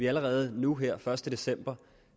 allerede nu her første december